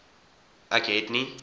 ek het nie